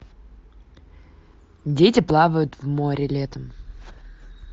дети плавают в море летом